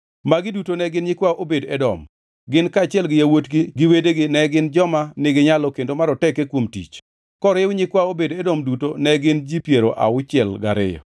Magi duto ne gin nyikwa Obed-Edom. Gin kaachiel gi yawuotgi to gi wedegi ne gin joma niginyalo kendo maroteke kuom tich. Koriw nyikwa Obed-Edom duto to ne gin ji piero auchiel gariyo.